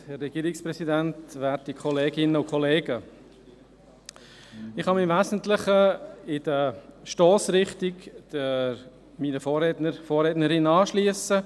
Ich kann mich im Wesentlichen der Stossrichtung meiner Vorrednerinnen und Vorredner anschliessen.